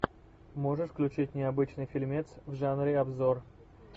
можешь включить необычный фильмец в жанре обзор